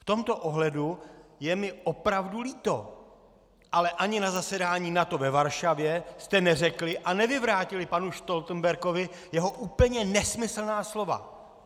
V tomto ohledu je mi opravdu líto, ale ani na zasedání NATO ve Varšavě jste neřekli a nevyvrátili panu Stoltenbergovi jeho úplně nesmyslná slova!